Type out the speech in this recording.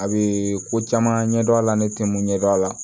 A bɛ ko caman ɲɛdɔn a la ne tɛ mun ɲɛdɔn a la